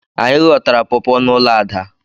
Anyị ghọtara pọpọ n'ụlọ Ada.